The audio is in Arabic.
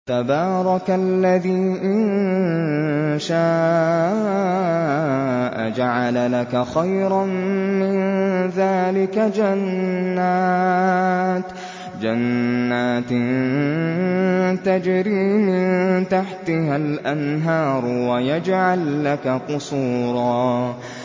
تَبَارَكَ الَّذِي إِن شَاءَ جَعَلَ لَكَ خَيْرًا مِّن ذَٰلِكَ جَنَّاتٍ تَجْرِي مِن تَحْتِهَا الْأَنْهَارُ وَيَجْعَل لَّكَ قُصُورًا